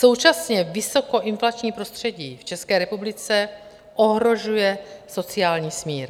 Současně vysokoinflační prostředí v České republice ohrožuje sociální smír.